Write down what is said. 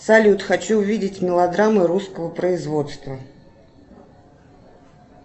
салют хочу увидеть мелодрамы русского производства